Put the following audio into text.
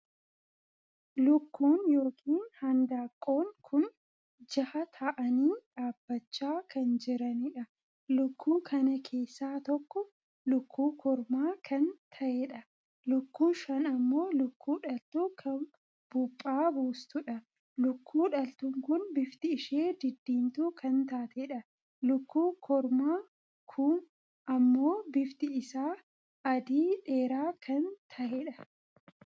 Lukkuun ykn handaaqqoon kun jaha tahaanii dhaabbachaa kan jiraniidha. lukkuu kana keessaa tokko lukkuu kormaa kan taheedha. lukkuun shan ammoo lukkuu dhaltuu kan buphaa buustuudha. lukkuu dhaltuun kun bifti ishee diddiimtuu kan taateedha. lukkuu kormaa ku ammoo bifti isaa adii dheeraa kan taheedha.